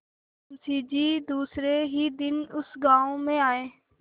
मुँशी जी दूसरे ही दिन उस गॉँव में आये